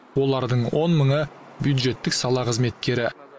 олардың он мыңы бюджеттік сала қызметкері